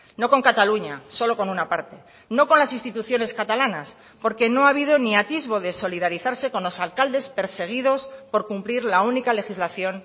no con cataluña solo con una parte no con las instituciones catalanas porque no ha habido ni atisbo de solidarizarse con los alcaldes perseguidos por cumplir la única legislación